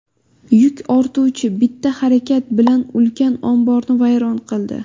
Yuk ortuvchi bitta harakat bilan ulkan omborni vayron qildi .